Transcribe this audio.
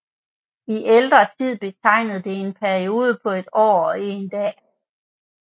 I ældre tid betegnede det en periode på et år og en dag